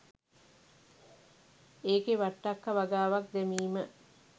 ඒකෙ වට්ටක්ක වගාවක් දැමීම